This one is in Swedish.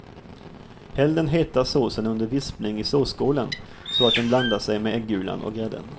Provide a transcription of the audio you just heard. Häll den heta såsen under vispning i såsskålen så att den blandar sig med äggulan och grädden.